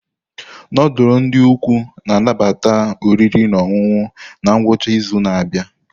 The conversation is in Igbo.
Nudulu ndi ukwu na-anabata oriri na ọṅụṅụ na ngwụcha izu na-abịa.